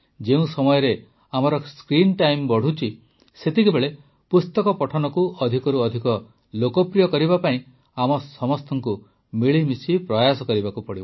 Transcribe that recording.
ଯେଉଁ ସମୟରେ ଆମର ସ୍କ୍ରିନ୍ ଟାଇମ୍ ବଢ଼ୁଛି ସେତେବେଳେ ପୁସ୍ତକ ପଠନକୁ ଅଧିକରୁ ଅଧିକ ଲୋକପ୍ରିୟ କରିବା ପାଇଁ ଆମ ସମସ୍ତଙ୍କୁ ମିଳିମିଶି ପ୍ରୟାସ କରିବାକୁ ପଡ଼ିବ